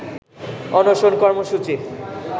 অনশন কর্মসূচির